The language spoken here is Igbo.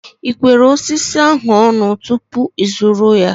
Ị kwere osisi ahu ọnụ tupu ịzụrụ ya?